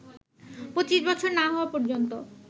২৫ বছর না হওয়া পর্যন্ত